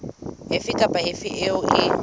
efe kapa efe eo e